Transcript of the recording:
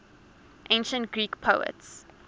ancient greek poets